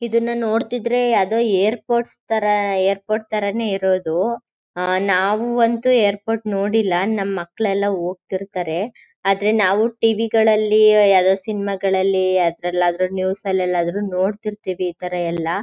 ಇದನ ನೋಡ್ತಿದ್ರೆ ಯಾವದೇ ಏರ್ಪೋರ್ಟ್ಸ್ ತರ ಏರ್ಪೋರ್ಟ್ ತರಾನೇ ಇರೋದು. ನಾವು ಅಂತೂ ಏರ್ಪೋಟ್ ನೋಡಿಲ್ಲ ನಮ್ ಮಕ್ಕಳು ಎಲ್ಲ ಹೋಗ್ತಿರ್ತಾರೆ. ಆದ್ರೆ ನಾವು ಟಿವಿ ಗಳಲ್ಲಿ ಯಾವ್ದೋ ಸಿನಿಮಾ ಗಳಲ್ಲಿ ಯಾವದರಲ್ಲಾದ್ರೂ ನ್ಯೂಸ್ ಅಲ್ಲಿಎಲ್ಲಾದ್ರೂ ನೋಡ್ತಿರ್ತೀವಿ ಇತರ ಎಲ್ಲ.